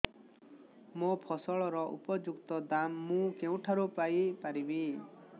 ମୋ ଫସଲର ଉପଯୁକ୍ତ ଦାମ୍ ମୁଁ କେଉଁଠାରୁ ପାଇ ପାରିବି